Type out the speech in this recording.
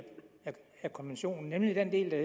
af konventionen nemlig den del der